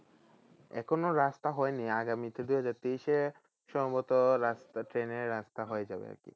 এখনো রাস্তা হয়নি সম্ভবত রাস্তা ট্রেনের রাস্তা হয়ে যাবে আর কি।